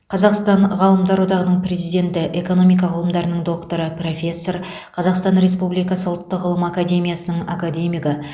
қазақстан ғалымдар одағының президенті экономика ғылымдарының докторы профессор қазақстан республикасы ұлттық ғылым академиясының академигі